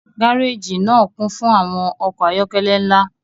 gareji naa kun fun awọn ọkọ ayọkẹlẹ nla